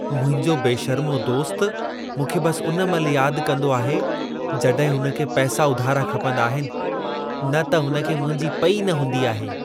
मुंहिंजो बेशर्मो दोस्त मूंखे बस उन महिल याद कंदो आहे, जॾहिं हुन खे पैसा उधारा खपंदा आहिनि, न त हुन खे मुंहिंजी पेई न हूंदी आहे।